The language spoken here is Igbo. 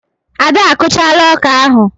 Ada a kụchaala ọkà ahụ.